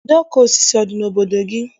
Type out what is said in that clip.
Ide ọkụ osisi ọ dị n'obodo gị?